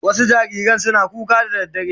Wasu jariran suna kuka da daddare